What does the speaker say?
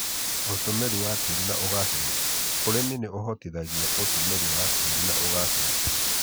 ũtũmĩri wa tĩri na ũgacĩru: ũrĩmi nĩ ũhotithagia ũtũmĩri wa tĩri na ũgacĩru